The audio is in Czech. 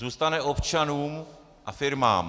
Zůstane občanům a firmám.